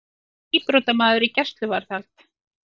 Síbrotamaður í gæsluvarðhald